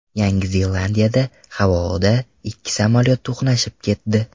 Yangi Zelandiyada havoda ikki samolyot to‘qnashib ketdi.